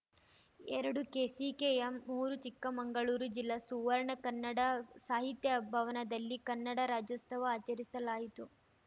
ಎರಡುಕೆಸಿಕೆಎಂ ಮೂರು ಚಿಕ್ಕಮಂಗಳೂರು ಜಿಲ್ಲಾ ಸುವರ್ಣ ಕನ್ನಡ ಸಾಹಿತ್ಯ ಭವನದಲ್ಲಿ ಕನ್ನಡ ರಾಜ್ಯೋತ್ಸವ ಆಚರಿಸಲಾಯಿತು